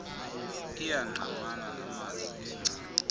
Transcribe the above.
iyangqamana namazwi engcali